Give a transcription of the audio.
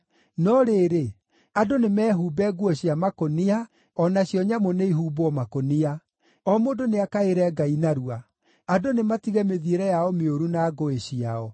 No rĩrĩ, andũ nĩmehumbe nguo cia makũnia o nacio nyamũ nĩihumbwo makũnia. O mũndũ nĩakaĩre Ngai narua. Andũ nĩmatige mĩthiĩre yao mĩũru na ngũĩ ciao.